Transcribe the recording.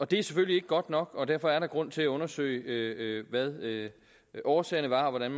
det er selvfølgelig ikke godt nok og derfor er der grund til at undersøge hvad årsagerne var og hvordan